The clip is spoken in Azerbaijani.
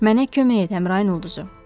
Mənə kömək et, Əmrayın ulduzu.